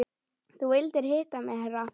Þú vildir hitta mig herra?